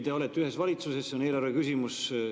Te olete ühes valitsuses ja see on eelarve küsimus.